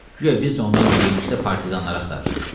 Guya biz də onlarla birlikdə partizanları axtarırıq.